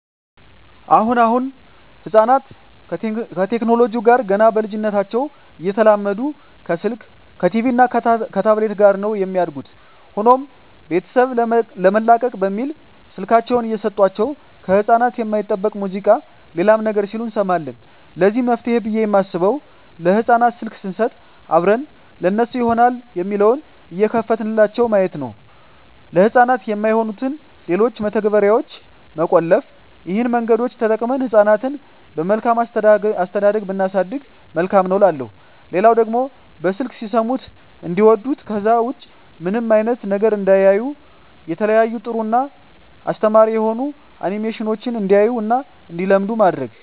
አሁን አሁን ህጻናት ከቴክኖለጂው ጋር ገና በልጂነታቸው እየተላመዱ ከስልክ ከቲቪ እና ከታብሌት ጋር ነው የሚያድጉት። ሆኖም ቤተሰብ ለመላቀቅ በሚል ስልካቸውን እየሰጦቸው ከህጻናት የማይጠበቅ ሙዚቃ ሌላም ነገር ሲሉ እንሰማለን ለዚህ መፍትሄ ብየ የማስበው ለህጻናት ስልክ ሰንሰጥ አብረን ለነሱ ይሆናል የሚለውን እየከፈትንላቸው ማየት፤ ለህጻናት የማይሆኑትን ሌሎችን መተግበርያዋች መቆለፍ ይህን መንገዶች ተጠቅመን ህጻናትን በመልካም አስተዳደግ ብናሳድግ መልካም ነው እላለሁ። ሌላው ደግሞ በስልክ ሲሰሙት እንዲዋዱት ከዛ ውጭ ምንም አይነት ነገር እንዳያዩ የተለያዩ ጥሩ እና አስተማሪ የሆኑ አኒሜሽኖችን እንዲያዩ እና እንዲለምዱ ማድረግ።